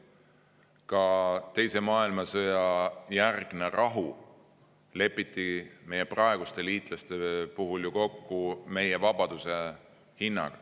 Ka teise maailmasõja järgne rahu lepiti meie praeguste liitlaste puhul ju kokku meie vabaduse hinnaga.